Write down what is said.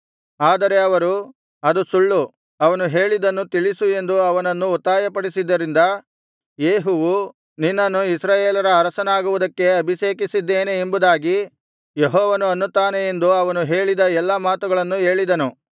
ಆದರೆ ಅವರು ಅದು ಸುಳ್ಳು ಅವನು ಹೇಳಿದ್ದನ್ನು ತಿಳಿಸು ಎಂದು ಅವನನ್ನು ಒತ್ತಾಯಪಡಿಸಿದ್ದರಿಂದ ಯೇಹುವು ನಿನ್ನನ್ನು ಇಸ್ರಾಯೇಲರ ಅರಸನಾಗುವುದಕ್ಕೆ ಅಭಿಷೇಕಿಸಿದ್ದೇನೆ ಎಂಬುದಾಗಿ ಯೆಹೋವನು ಅನ್ನುತ್ತಾನೆ ಎಂದು ಅವನು ಹೇಳಿದ ಎಲ್ಲ ಮಾತುಗಳನ್ನು ಹೇಳಿದನು